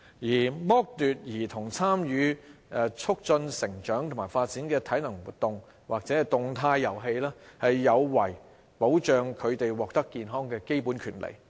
而剝奪兒童參與促進成長及發展的體能活動或動態遊戲，有違保障他們獲得健康的基本權利。